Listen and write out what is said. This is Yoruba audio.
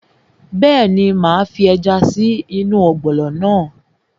Bẹ́ẹ̀ni, máa fi ẹja sí ọ̀gbọ̀nọ̀ náà